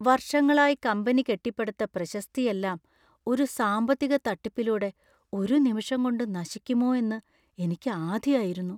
വർഷങ്ങളായി കമ്പനി കെട്ടിപ്പടുത്ത പ്രശസ്തിയെല്ലാം ഒരു സാമ്പത്തിക തട്ടിപ്പിലൂടെ ഒരു നിമിഷം കൊണ്ട് നശിക്കുമോ എന്ന് എനിക്ക് ആധിയായിരുന്നു.